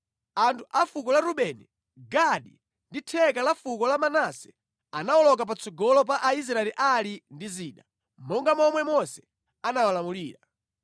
Anthu a fuko la Rubeni, Gadi ndi theka la fuko la Manase anawoloka patsogolo pa Aisraeli ali ndi zida, monga momwe Mose anawalamulira.